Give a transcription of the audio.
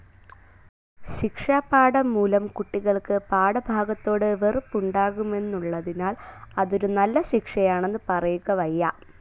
ശിക്ഷാപാഠം മൂലം കുട്ടികൾക്ക് പാഠഭാഗത്തോടു വെറുപ്പുണ്ടാകുമെന്നുള്ളതിനാൽ അതൊരു നല്ല ശിക്ഷയാണെന്ന് പറയുക വയ്യ.